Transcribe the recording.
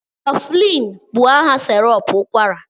Coflin bụ aha sirop ụkwara